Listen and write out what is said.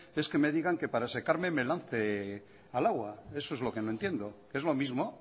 es que me digan que para secarme me lance al agua eso es lo que no entiendo es lo mismo